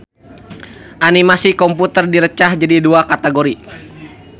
Animasi komputer direcah jadi dua kategori.